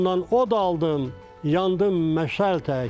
Odumdan od aldım, yandım məşəl tək.